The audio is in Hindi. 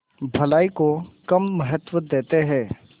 भलाई को कम महत्व देते हैं